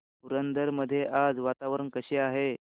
पुरंदर मध्ये आज वातावरण कसे आहे